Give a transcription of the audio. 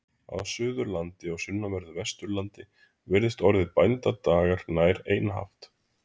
Á Suðurlandi og sunnanverðu Vesturlandi virðist orðið bænadagar nær einhaft.